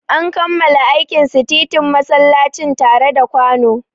An kammala aikin sitintin masallacin tare da kwano.